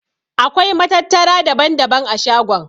Akwai matattara daban-daban a shagon.